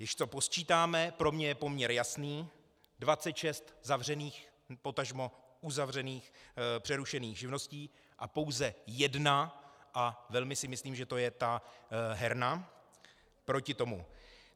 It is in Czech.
Když to posčítáme, pro mě je poměr jasný, 26 zavřených, potažmo uzavřených, přerušených živností a pouze jedna, a velmi si myslím, že to je ta herna, proti tomu.